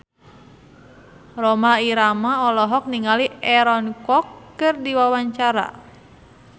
Rhoma Irama olohok ningali Aaron Kwok keur diwawancara